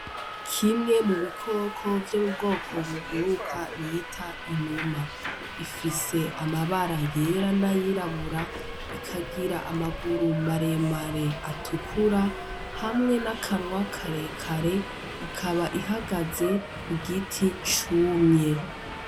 Kimwe mubikoko vyo mubwoko buguruka bita Inuma. Ifise amabara yera n'ayirabura, ikagira amaguru maremare atukura hamwe n' numunwa karekare ikaba ihagaze kugiti cumye.